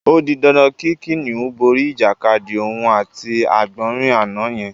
O di dandan kí kìnìún borí ìjàkadì òun àti àgbò̩nrín àná ye̩n